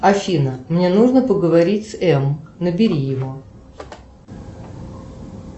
афина мне нужно поговорить с м набери его